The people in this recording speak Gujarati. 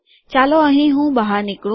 ચાલો અહીં હું બહાર નીકળું